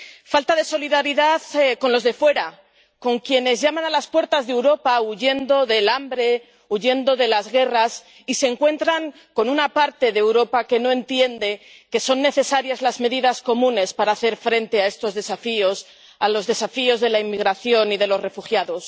Falta de solidaridad con los de fuera, con quienes llaman a las puertas de Europa huyendo del hambre, huyendo de las guerras y se encuentran con una parte de Europa que no entiende que son necesarias medidas comunes para hacer frente a estos desafíos, a los desafíos de la inmigración y de los refugiados.